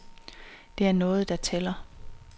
Det er noget, der tæller.